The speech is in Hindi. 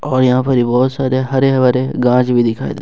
और यहां पे बहुत सारे हरे भरे गांछ भी दिखाई दे--